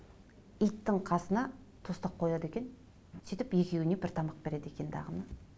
иттің қасына тостақ қояды екен сөйтіп екеуіне бір тамақ береді екен дағыны